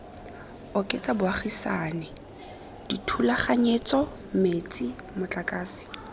oketsa bogaisani dithulaganyetso metsi motlakase